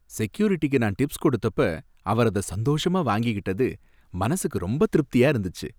செக்யூரிட்டிக்கு நான் டிப்ஸ் கொடுத்தப்ப அவர் அத சந்தோஷமா வாங்கிக்கிட்டது மனசுக்கு ரொம்ப திருப்தியா இருந்துச்சு.